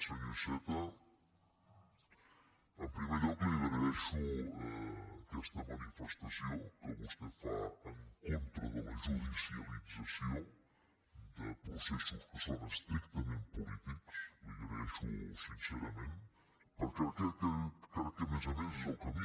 senyor iceta en primer lloc li agraeixo aquesta manifestació que vostè fa en contra de la judicialització de processos que són estrictament polítics la hi agraeixo sincerament perquè crec que més a més és el camí